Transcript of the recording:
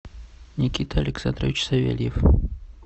никита александрович савельев